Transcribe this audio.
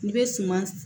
N'i bɛ suman